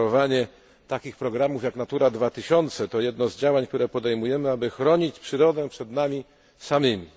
Kreowanie takich programów, jak Natura 2000, to jedno z działań, które podejmujemy, aby chronić przyrodę przed nami samymi.